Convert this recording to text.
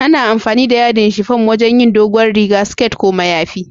Ana amfani da yadin shifum wajin yin dogowar riga, siket ko mayafi.